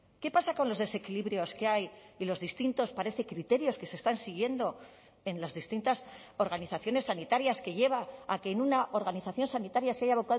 qué pasa con los desequilibrios que hay y los distintos parece criterios que se están siguiendo en las distintas organizaciones sanitarias que lleva a que en una organización sanitaria se haya